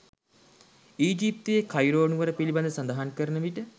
ඊජිප්තුවේ Cairo නුවර පිළිබඳ සඳහන් කරන විට